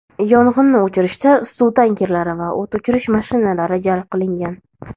yong‘inni o‘chirishda suv tankerlari va o‘t o‘chirish mashinalari jalb qilingan.